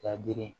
Ka girin